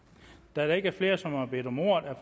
da der ikke er flere som har bedt om ordet er